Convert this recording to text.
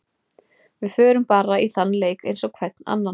Við förum bara í þann leik eins og hvern annan.